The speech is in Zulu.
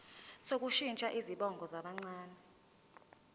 sokushintsha izibongo zabancane